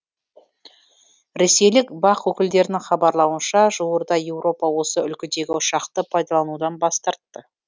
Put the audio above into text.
ресейлік бақ өкілдерінің хабарлауынша жуырда еуропа осы үлгідегі ұшақты пайдаланудан бас тартты